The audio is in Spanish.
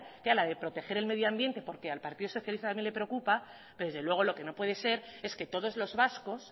que era la de proteger el medio ambiente porque al partido socialista también le preocupa pero desde luego lo que no puede ser es que todos los vascos